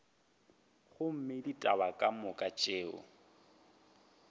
gomme ditaba ka moka tšeo